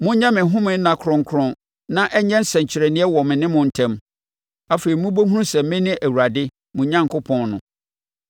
Monyɛ me home nna kronkron na ɛnyɛ nsɛnkyerɛnneɛ wɔ me ne mo ntam. Afei mobɛhunu sɛ mene Awurade, mo Onyankopɔn no.”